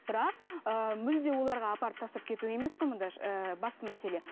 бірақ ыыы мүлде оларға апарып тастап кету емес қой мында басты мәселе